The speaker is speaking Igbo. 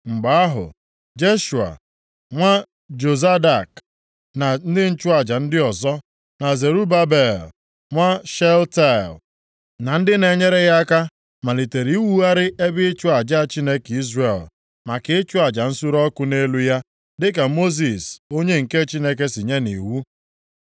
Mgbe ahụ, Jeshua, nwa Jozadak na ndị nchụaja ndị ọzọ, na Zerubabel nwa Shealtiel na ndị na-enyere ya aka malitere iwugharị ebe ịchụ aja Chineke Izrel maka ịchụ aja nsure ọkụ nʼelu ya dịka Mosis onye nke Chineke si nye nʼiwu.